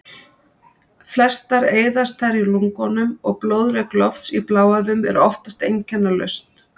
Flestar eyðast þær í lungunum og blóðrek lofts í bláæðum er oftast einkennalaust.